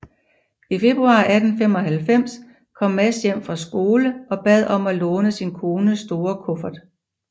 I februar 1895 kom Mads hjem fra skole og bad om at låne sin kones store kuffert